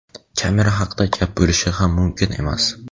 Kamera haqida gap bo‘lishi ham mumkin emas.